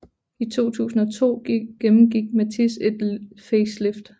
I 2002 gennemgik Matiz et facelift